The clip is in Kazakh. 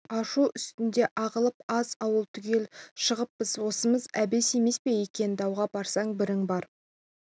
ашу үстінде ағылып аз ауыл түгел шығыппыз осымыз әбес емес пе екен дауға барсаң бірің бар